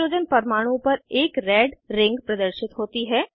उस हाइड्रोजन परमाणु पर एक रेड रिंग प्रदर्शित होती है